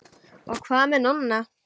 Og hvað með Nonna?